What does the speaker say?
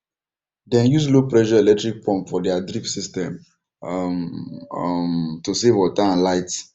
dem use lowpressure electric pump for their drip system um um to save water and light